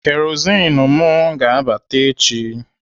Kerozin m ga-abata echi.